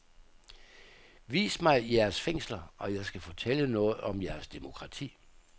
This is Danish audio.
Vis mig jeres fængsler, og jeg skal fortælle noget om jeres demokrati.